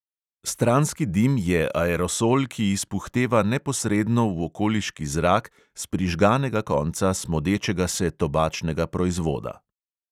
Stranski dim je aerosol, ki izpuhteva neposredno v okoliški zrak s prižganega konca smodečega se tobačnega proizvoda.